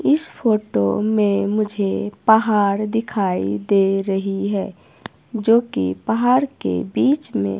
इस फोटो में मुझे पहाड़ दिखाई दे रही है जो कि पहाड़ के बीच में--